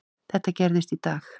Þetta gerðist í dag.